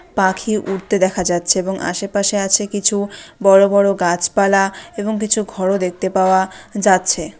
পাখি উড়তে দেখা যাচ্ছে এবং আশেপাশে আছে কিছু বড় বড় গাছপালা এবং কিছু ঘর ও দেখতে পাওয়া যাচ্ছে।